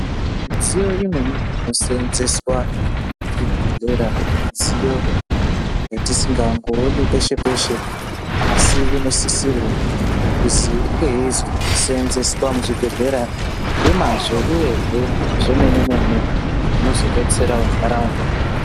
Midziyo imweni inoshandiswa muzvibhedhlera midziyo yatisingangooni peshe peshe asi inosisirwa kunge yeizosenzeswa muzvibhedhlera nemazvo uye zvemene mene inozodetsera ndaraunda.